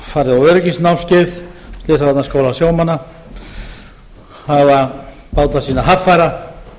farið á öryggisnámskeið í slysavarnaskóla sjómanna hafa báta sína haffæra